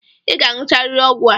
I ga-aṅụcharịrị ọgwụ a!